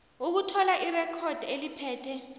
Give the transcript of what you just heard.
ukuthola irekhodi eliphethe